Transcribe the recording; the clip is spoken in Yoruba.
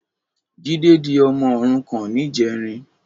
Jide di òmò órúkàn nijèrín